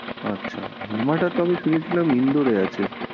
আচ্ছা, RAMADA তবে শুনেছিলাম ইন্দোরে আছে।